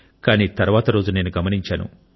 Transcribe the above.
కానీ తర్వాతి రోజు నేను గమనించాను